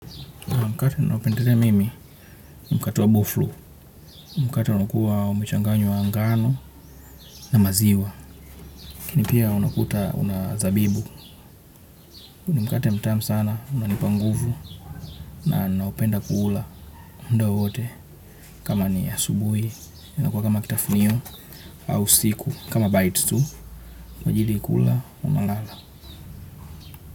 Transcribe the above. Mkate naupendelea mimi ni mkate wa bofloo, mkate unaokuwa umechanganywa ngano na maziwa. Lakini pia unakuta una zabibu, ni mkate na mtamu sana unanipa nguvu na naupenda ku ula muda wowote kama ni asubuhi, inakuwa kama kitafunio au usiku kama bites, majili kula unalala.